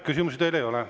Küsimusi teile ei ole.